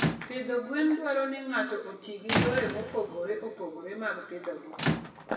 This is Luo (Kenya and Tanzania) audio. Pidho gwen dwaro ni ng'ato oti gi yore mopogore opogore mag pidhogi.